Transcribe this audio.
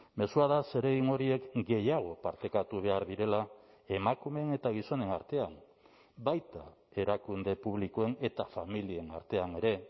mezua da zeregin horiek gehiago partekatu behar direla emakumeen eta gizonen artean baita erakunde publikoen eta familien artean ere